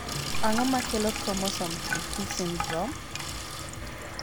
ang'o makelo chromosome 3p syndrome?